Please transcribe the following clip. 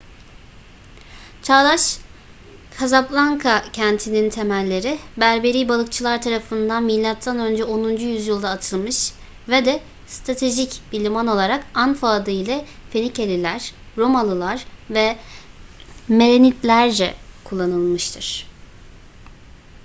çağdaş kazablanka kentinin temelleri berberi balıkçılar tarafından mö 10. yüzyılda atılmış ve de stratejik bir liman olarak anfa adı ile fenikeliler romalılar ve merenidlerce kullanılmıştır